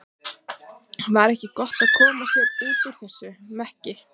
Var ekki eins gott að koma sér út úr þessum mekki?